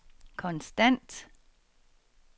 konstant